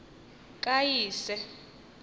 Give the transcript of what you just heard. kayise